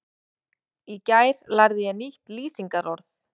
Í gær lærði ég nýtt lýsingarorð.